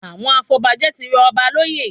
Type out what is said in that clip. Àwọn afọbajẹ tí rọ ọba lóyè